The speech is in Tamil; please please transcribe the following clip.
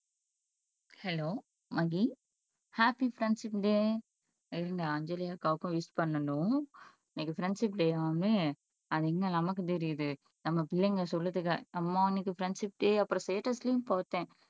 hello Magi happy friendship day இன்னும் அஞ்சலி அக்காவுக்கும் விஷ் பண்ணணும் இன்னைக்கு ஃப்ரெண்ட்ஷிப் டேயாமே அது எங்க நமக்கு தெரியுது நம்ம பிள்ளைங்க சொல்லுதுக அம்மா இன்னைக்கு ஃப்ரெண்ட்ஷிப் டே அப்பறம் ஸ்டேட்டஸ்லையும் போட்டேன்